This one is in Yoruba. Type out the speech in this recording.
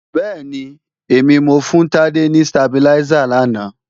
Bẹ́ẹ̀ni, èmi mo fún Tádé ni stabiláísà làná